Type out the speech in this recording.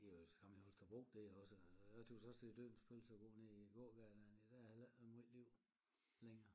Det er jo det samme i Holstebro det er også øh jeg tøs også det er dødens pølse at gå nede i æ gågade dernede der er heller ikke ret møj liv længere